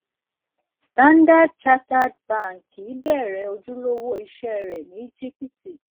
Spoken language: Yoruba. standard chartered bank bẹrẹ ojulowo iṣẹ rẹ ni ejipti